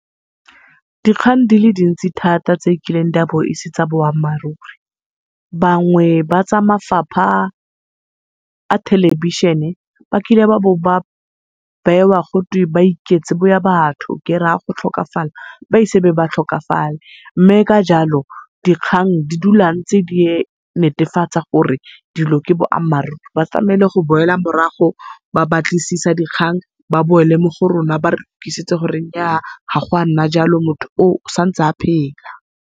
Dikgang di le dintsi thata tse e kileng di a bo e se tsa boammaaruri, bangwe ba tsa mafapha a thelebišhene ba kile babo ba bewa gotwe ba iketse boya batho, kera go tlhokafala ba ise be ba tlhokafale. Mme ka jalo dikgang di dula ntse di netefatsa gore dilo ke boammaaruri. Ba tlamele go boela morago ba batlisisa dikgang, ba boele mo go rona gore nyaa ga go a nna jalo motho oo o santse a phela.